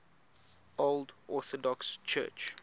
old orthodox church